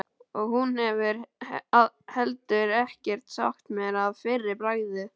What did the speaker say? Og hún hefur heldur ekkert sagt mér að fyrra bragði.